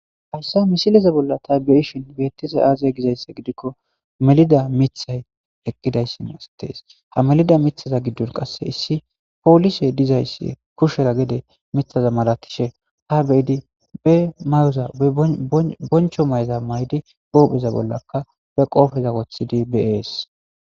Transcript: hayssa misileza bolla ta be7ishin beettiza aaza gizayssa gidikko melida mithay eqqidayssin astees ha melida mithaza giddon qasse issi poolise dizayssi kushera gede mithaza malatishe ha beyidi be mayoza boncho mayza may7di huupheza bollaka be qoofeza wothidi bees.